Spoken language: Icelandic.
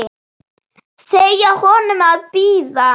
Segja honum að bíða.